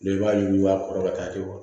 i b'a yuguba a kɔrɔ ka taa kɛ